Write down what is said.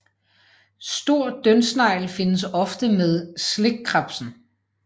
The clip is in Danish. Stor dyndsnegl findes ofte sammen med slikkrebsen